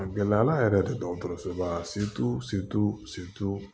A gɛlɛyala yɛrɛ de dɔgɔtɔrɔsoba